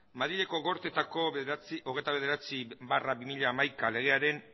madrileko gortetako hogeita bederatzi barra bi mila hamaika legearen